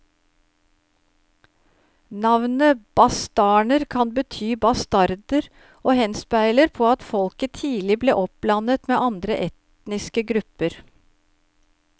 Navnet bastarner kan bety bastarder og henspeiler på at folket tidlig ble oppblandet med andre etniske grupper.